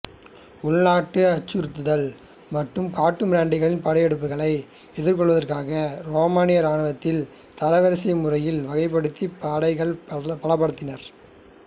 உள்நாட்டு அச்சுறுத்தல்கள் மற்றும் காட்டுமிராண்டிகளின் படையெடுப்புகளை எதிர்கொள்வதற்காக ரோமானிய இராணுவதில் தரவரிசை முறையில் வகைபடுத்தி படைகளை பலப்படுத்தினர்